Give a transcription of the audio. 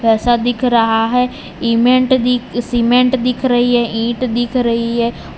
ऐसा दिख रहा है इमेंट दिख सीमेंट दिख रही है ईट दिख रही है।